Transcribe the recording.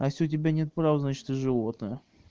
у тебя нет прав значит ты животное